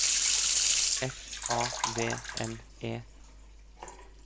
S A V N E